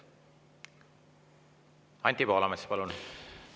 Anti Poolamets, palun!